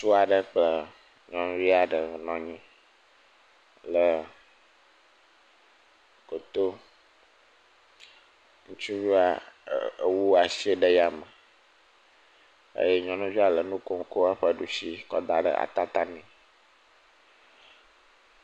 Ŋutsu aɖe kple nyɔnuvi aɖe wonɔ anyi ɖe goto, ŋutsuvia ee.., wu asi ɖe yame, eye nyɔnuvia le nu kom kɔ ɖusi kɔ da ɖe atata nɛ.